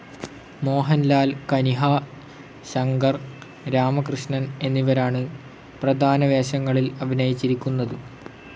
മോഹൻലാൽ, കനിഹ, ശങ്കർ രാമകൃഷ്ണൻ എന്നിവരാണ് പ്രധാനവേഷങ്ങളിൽ അഭിനയിച്ചിരിക്കുന്നത്.